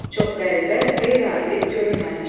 Çox qəribə, qeyri-adi, görünməmiş.